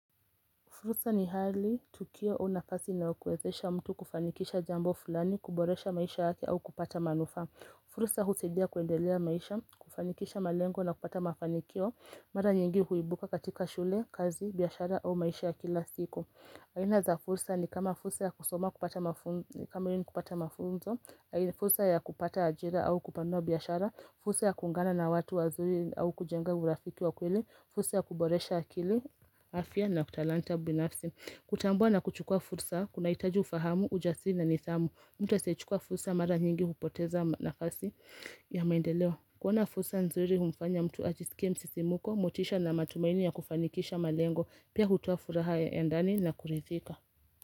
Fursa ni hali tukio au nafasi inayowezesha mtu kufanikisha jambo fulani, kuboresha maisha yake au kupata manufaa. Fursa husaidia kuendelea maisha, kufanikisha malengo na kupata mafanikio, mara nyingi huibuka katika shule, kazi, biashara au maisha ya kila siku. Aina za fursa ni kama fursa ya kusoma kupata mafunzo, fursa ya kupata ajira au kupanua biashara, fursa ya kuungana na watu wazuri au kujenga urafiki wa kweli, fursa ya kuboresha akili, afya na utalanta binafsi. Kutambua na kuchukua fursa kunahitaji ufahamu, ujasina na nidhamu mtu asiyechukua fursa mara nyingi hupoteza nafasi ya maendeleo. Kuona fursa nzuri humfanya mtu ajisikie msisimuko, motisha na matumaini ya kufanikisha malengo Pia hutoa furaha ya ndani na kuridhika.